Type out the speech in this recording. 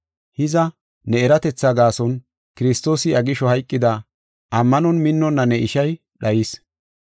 Hiza, ne eratetha gaason Kiristoosi iya gisho hayqida, ammanon minnonna ne ishay dhayis.